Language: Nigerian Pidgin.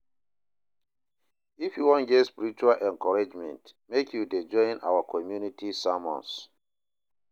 If you wan get spiritual encouragement, make you dey join our community sermons